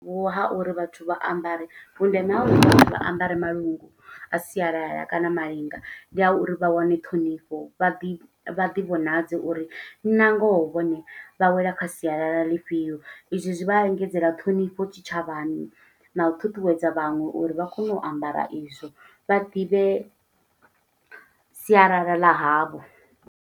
Ho ha uri vhathu vha ambare. Vhundeme ha vha ambare malungu a sialala kana malinga, ndi a uri vha wane ṱhonifho. Vha ḓi, vha ḓi vhonadze uri na ngoho vhone vha wela kha sialala ḽifhio. I zwi zwi vha engedzela ṱhonifho tshitshavhani, na u ṱuṱuwedza vhaṅwe uri vha kone u ambara i zwo, vha ḓivhe sialala ḽa havho.